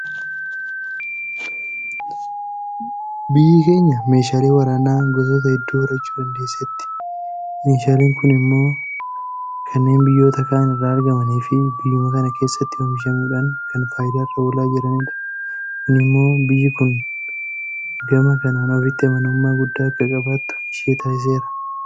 Biyyi keenya meeshaalee waraanaa gosoota hedduu horachuu dandeesseetti. Meeshaaleen kun immoo kanneen biyyoota kaan irraa argamaniifi biyyuma kana keessatti oomishamuudhaan kan faayidaarra oolaa jiranidha. Kun immoo biyyi kun gama kanaan ofitti amanamummaa guddaa akka qabaattu ishee taasiseera.